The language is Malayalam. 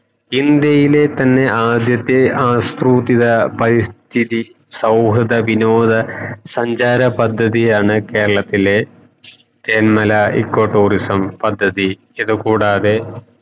ഇന്ത്യയില്ലേ തന്നെ എ ആദ്യത്തെ ആസൃതിത്ത പരിസ്ഥിത സൗഹൃദ വിനോദ സഞ്ചാര പദ്ധതിയാണ് കേരളത്തിലെ തേൻമല eco tourism പദ്ധതി ഇത് കൂടാതെ